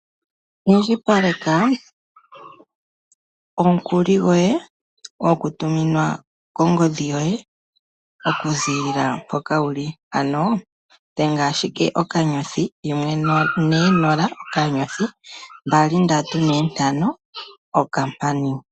Indjipaleka omukuli goye hagu tuminwa kongodhi yoye okuzilila mpoka wuli ano dhenga *140*2345#.